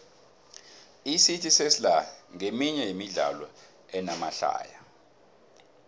icity sesla nqeminye yemidlalo enamahlaya